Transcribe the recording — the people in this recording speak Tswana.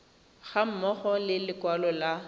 ga mmogo le lekwalo la